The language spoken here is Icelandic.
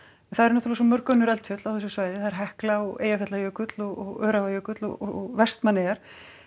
það eru náttúrulega svo mörg önnur eldfjöll á þessu svæði Hekla og Eyjafjallajökull og Öræfajökull og Vestmannaeyjar